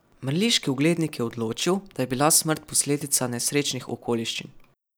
Mrliški oglednik je odločil, da je bila smrt posledica nesrečnih okoliščin.